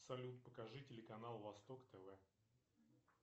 салют покажи телеканал восток тв